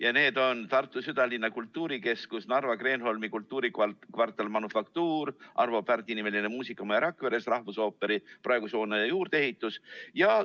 Pingereas on Tartu südalinna kultuurikeskus, Narva Kreenholmi kultuurikvartal Manufaktuur, Arvo Pärdi nimeline muusikamaja Rakveres, rahvusooperi praeguse hoone juurdeehitis.